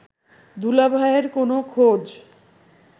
দুলাভাইয়ের কোন খোঁজ